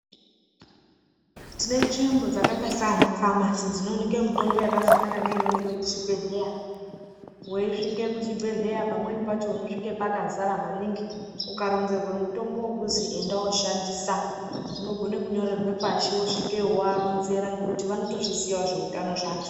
Tine nzvimbo dzakaita sana famasi dzinooneke mitombo yakafanana neinooneke kuchibhehleya. Weisvike kuchibhedhleya pamweni pacho unosvika pakazara maningi. Ukaronzerwa mutombo wekuzi enda woshandisa ugone kunyorerwa pashi wosvikeyo woaronzera ngekuti vanotozviziyawo zveutano zvacho.